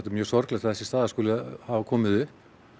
er mjög sorglegt að þessi staða hafi komið upp